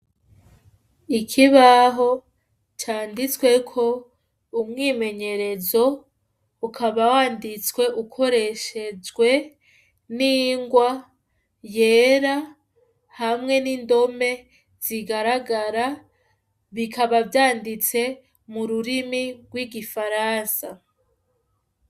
Ikibaho canditsweko umwimenyerezo, ukaba wanditswe ukoreshejwe n'ingwa yera hamwe n'indome zigaragara, zikaba zanditse mu rurimi rw'igifaransa.